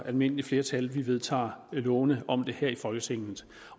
almindeligt flertal vi vedtager lovene om det her i folketinget